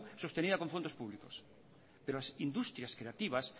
sostenida con fondos públicos pero las industrias creativas